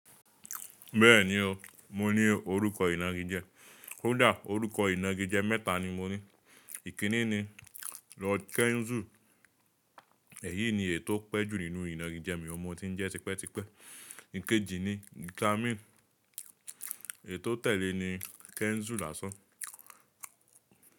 Bẹ́ẹ̀ni o, mo ní orúkọ ìnagijẹ. kÒ dá, orúkọ ìnagijẹ mẹ́ta ni mo ní. Ìkíní ni Lord Kenzu. Èyí ni èyii tò pẹ́ jù nínú ìnagijẹ mi oun ni mo tí ń jẹ́ tipẹ́tipẹ́. Ìkejì ni Glamin. Èyi tò tẹ̀lé ni Kenzu lásán.